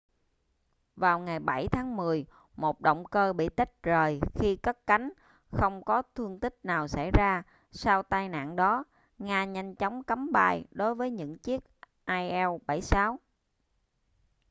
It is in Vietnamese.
vào ngày 7 tháng 10 một động cơ bị tách rời khi cất cánh không có thương tích nào xảy ra sau tai nạn đó nga nhanh chóng cấm bay đối với những chiếc il-76